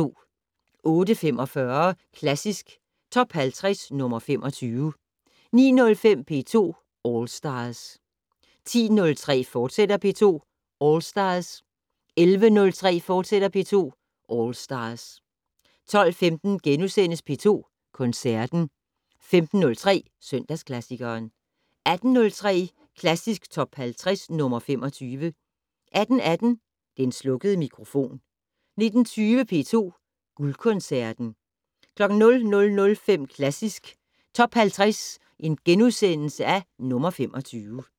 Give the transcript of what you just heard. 08:45: Klassisk Top 50 - nr. 25 09:07: P2 All Stars 10:03: P2 All Stars, fortsat 11:03: P2 All Stars, fortsat 12:15: P2 Koncerten * 15:03: Søndagsklassikeren 18:03: Klassisk Top 50 - nr. 25 18:18: Den slukkede mikrofon 19:20: P2 Guldkoncerten 00:05: Klassisk Top 50 - nr. 25 *